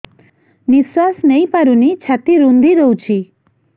ନିଶ୍ୱାସ ନେଇପାରୁନି ଛାତି ରୁନ୍ଧି ଦଉଛି